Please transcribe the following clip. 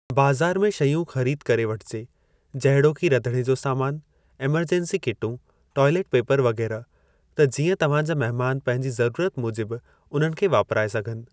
बाज़ार में शयूं ख़रीद करे वठिजे जहिड़ोकि रधिणे जो सामान, एमेरजेंसी किटूं, ट्वाइलेट पेपर वग़ैरह त जीअं तव्हां जा महिमान पंहिंजी ज़रूरत मूजिबि उन्हनि खे वापराए सघनि ।